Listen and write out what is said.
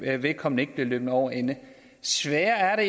at vedkommende ikke bliver løbet over ende sværere er